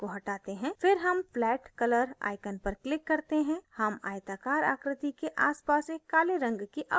फिर हम flat color icon पर click करते हैं हम आयताकार आकृति के आसपास एक काले रंग की outline देखते हैं